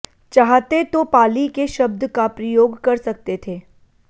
चाहते तो पालि के शब्द का प्रयोग कर सकते थे